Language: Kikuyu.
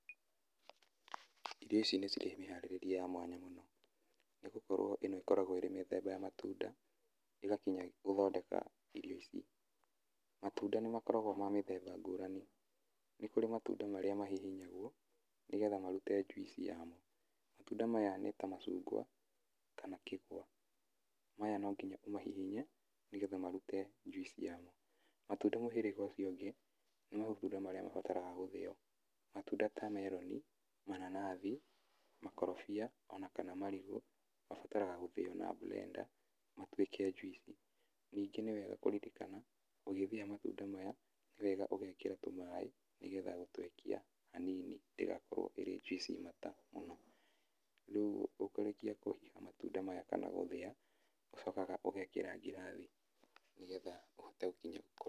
Irio ici nĩ cirĩ mĩharĩrĩrie ya mwanya mũno nĩ gũkorwo ĩno ĩkoragwo ĩrĩ mĩthemba ya matunda ĩgakinya gũthondeka irio ici. Matunda nĩ makoragwo me ma mĩthemba ngũrani. Nĩ kũrĩ matunda marĩa mahihinyagwo nĩgetha marute juice yamo, matunda maya nĩ ta macungwa kana kĩgwa. Matunda mũhĩrĩga ũcio ũngĩ nĩ matunda marĩa mabataraga gũthĩo, matunda ta meroni, mananathi, makorobia ona kana marigũ. Mabataraga gũthĩo na blender matuĩke juice. Ningĩ nĩ wega kũririkana ũgĩthĩa matunda maya nĩ wega ũgekĩra tũmaĩ nĩgetha gũtũekia hanini ndĩgakorwo ĩrĩ juice mata mũno. Rĩu ũkũrĩkia kũhiha matunda maya kana gũthĩa ũcokaga ũgekĩra ngirathi nĩgetha ũhote gũkinya...